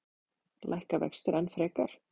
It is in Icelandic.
Lækka vextir enn frekar?